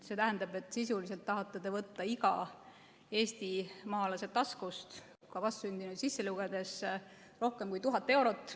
See tähendab, et sisuliselt tahate te võtta iga eestimaalase taskust, ka vastsündinuid sisse lugedes, rohkem kui 1000 eurot.